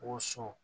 Woso